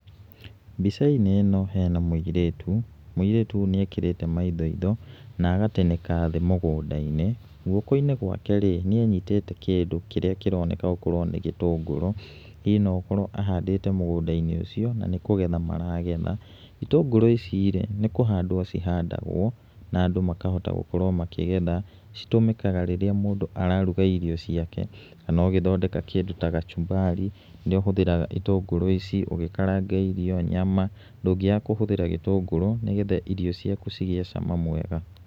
Mbica-inĩ ĩno hena mũirĩtu, mũirĩtu ũyũ nĩ ekĩrĩte maindoindo na agatĩnĩka thĩ mũgũnda-inĩ, guoko-inĩ gwake, nĩ abyitĩte kĩndũ kĩríĩ kĩroneka nĩ gĩtũngũrũ. Hihi no gũkorwo ahandĩte mũgũnda-inĩ ũcio, na nĩ kũgetha maragetha. Itũngũrũ ici rĩ, nĩ kũhandwo cihandagwo na andũ makahota gũkorwo makĩgetha, citũmĩkaga rĩrĩa mũndũ araruga irio ciake. Na no ithondekaga kĩndũ ta gacumbari, nĩ ũhũthĩraga itũndũrũ ici ũgĩkaranga irio, nyama, ndũngĩaga kũhũthĩra gĩtũngũrũ nĩ getha irio ciaku cigĩe cama mwega.